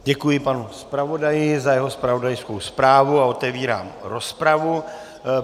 Děkuji panu zpravodaji za jeho zpravodajskou zprávu a otevírám rozpravu.